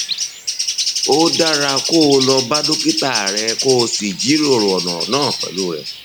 ó dára kó o lọ bá dókítà rẹ kó o sì jíròrò ọrọ náà pẹlú rẹ